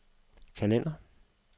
kalender